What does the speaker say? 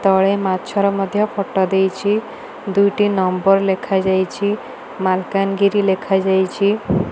ତଳେ ମାଛ ର ମଧ୍ୟ ଫଟ ଦେଇଚି ଦୁଇଟି ନମ୍ବର ଲେଖାଯାଇଚି ମାଲକାନଗିରି ଲେଖାଯାଇଛି।